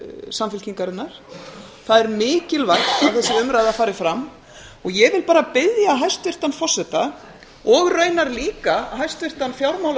samfylkingarinnar það er mikilvægt að þessi umræða fari fram ég vil bara biðja hæstvirtan forseta og raunar líka hæstvirtan fjármála og